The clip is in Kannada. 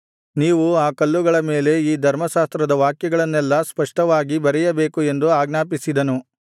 ನೀವು ಆ ಕಲ್ಲುಗಳ ಮೇಲೆ ಈ ಧರ್ಮಶಾಸ್ತ್ರದ ವಾಕ್ಯಗಳನ್ನೆಲ್ಲಾ ಸ್ಪಷ್ಟವಾಗಿ ಬರೆಯಬೇಕು ಎಂದು ಆಜ್ಞಾಪಿಸಿದನು